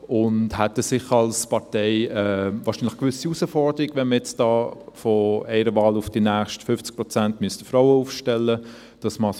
Als Partei hätte wir eine gewisse Herausforderung, wenn wir von einer Wahl bis zur nächsten 50 Prozent Frauen aufstellen müssten.